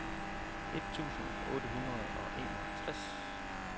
et tusind otte hundrede og enogtres